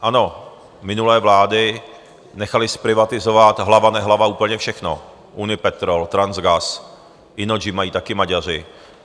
Ano, minulé vlády nechaly zprivatizovat hlava nehlava úplně všechno - Unipetrol, Transgas, Innogy mají taky Maďaři.